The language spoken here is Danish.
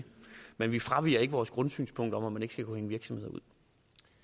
men vi fraviger ikke vores grundsynspunkt om